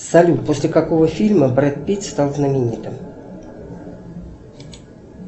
салют после какого фильма брэд питт стал знаменитым